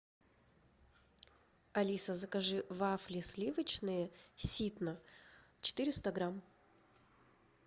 алиса закажи вафли сливочные ситно четыреста грамм